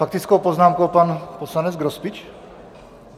Faktickou poznámku pan poslanec Grospič?